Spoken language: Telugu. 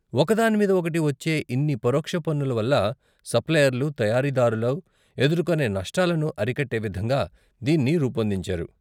ఒకదానిమీద ఒకటి వచ్చే ఇన్ని పరోక్ష పన్నుల వల్ల సప్లయర్లు, తయారీదారులు ఎదుర్కొనే నష్టాలను అరికట్టే విధంగా దీన్ని రూపొందించారు.